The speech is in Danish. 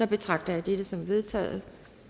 betragter jeg dette som vedtaget